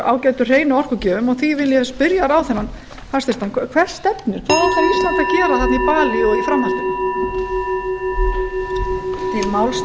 ágætu hreinu orkugjöfum og því vil ég spyrja hæstvirtan ráðherra hver stefnir hvað ætlar ísland að gera í balí og í framhaldinu